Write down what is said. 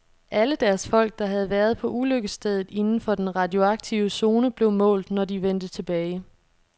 Alle deres folk, der havde været på ulykkesstedet inden for den radioaktive zone, blev målt, når de vendte tilbage.